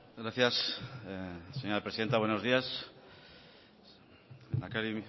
gracias señora presidenta buenos días lehendakari